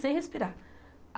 Sem respirar.